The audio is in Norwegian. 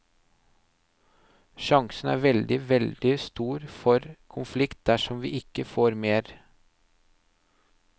Sjansen er veldig, veldig stor for konflikt dersom vi ikke får mer.